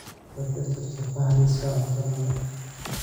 ka tirtir tufaax liiska cuntadayda